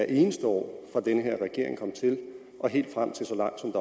eneste år fra den her regering kom til og helt frem til så langt som